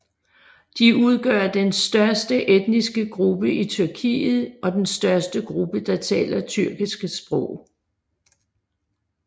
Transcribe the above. De udgør den største etniske gruppe i Tyrkiet og den største gruppe der taler tyrkiske sprog